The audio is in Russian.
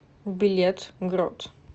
билет грот